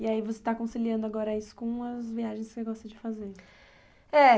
E aí você está conciliando agora isso com as viagens que você gosta de fazer? É...